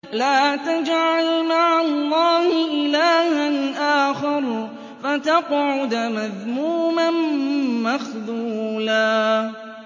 لَّا تَجْعَلْ مَعَ اللَّهِ إِلَٰهًا آخَرَ فَتَقْعُدَ مَذْمُومًا مَّخْذُولًا